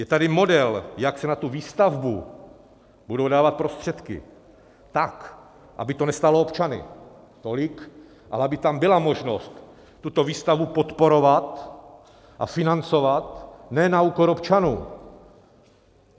Je tady model, jak se na tu výstavbu budou dávat prostředky tak, aby to nestálo občany tolik, ale aby tam byla možnost tuto výstavbu podporovat a financovat ne na úkor občanů.